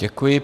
Děkuji.